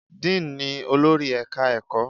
Dean ni olórí Ẹ̀ka-ẹ̀kọ́.